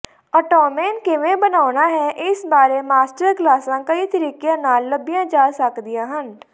ottoman ਕਿਵੇਂ ਬਣਾਉਣਾ ਹੈ ਇਸ ਬਾਰੇ ਮਾਸਟਰ ਕਲਾਸਾਂ ਕਈ ਤਰੀਕਿਆਂ ਨਾਲ ਲੱਭੀਆਂ ਜਾ ਸਕਦੀਆਂ ਹਨ